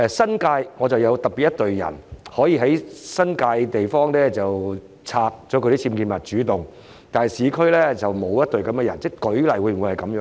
當局會否有特別隊伍在新界地方主動清拆僭建物，但在市區則不作這樣的安排，是否這樣呢？